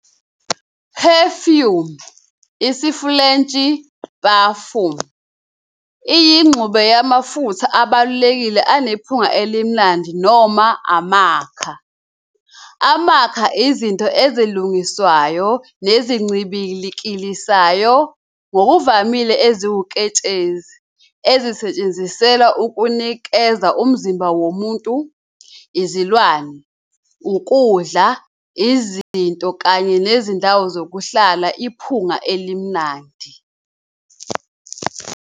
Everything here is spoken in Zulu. Perfume, isiFulentshi- parfum, iyingxube yamafutha abalulekile anephunga elimnandi noma amakha, amakha, izinto ezilungiswayo nezincibilikisayo, ngokuvamile eziwuketshezi, ezisetshenziselwa ukunikeza umzimba womuntu, izilwane, ukudla, izinto, kanye nezindawo zokuhlala iphunga elimnandi.